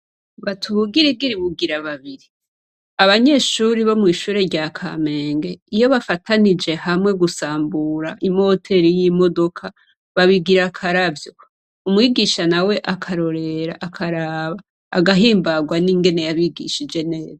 Bati ubugirigiri bugira babiri! Abanyeshuri bo mw' ishure rya Kamenge, iyo bafatanije hamwe gusambura imoteri y' imodoka , babigira akaravyo. Umwigisha nawe akarorera, akaraba, agahimbarwa n' ingene yabigishije neza.